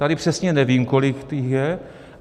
Tady přesně nevím, kolik jich je.